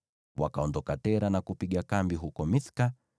Wakaondoka Tera na kupiga kambi huko Mithka.